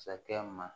Sakɛ ma